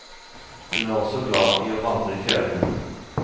Hun er også glad i å vandre i fjellene.